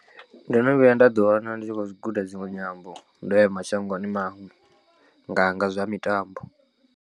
Ndo no vhuya nda ḓiwana ndi tshi khou guda dziṅwe nyambo ndo ya mashangoni maṅwe nga nga zwa mitambo.